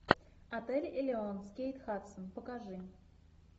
отель элеон с кейт хадсон покажи